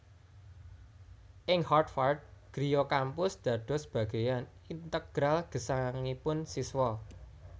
Ing Harvard griya kampus dados bageyan integral gesangipun siswa